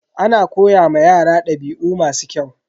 Ana koya ma yara dabi'u masu kyau.